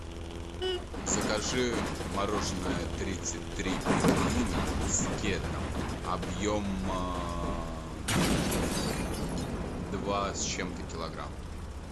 закажи мороженое тридцать три пингвина с кедром объем два с чем то килограмма